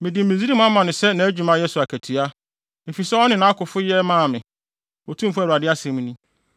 Mede Misraim ama no sɛ nʼadwumayɛ so akatua, efisɛ ɔne nʼakofo yɛ maa me, Otumfo Awurade asɛm ni.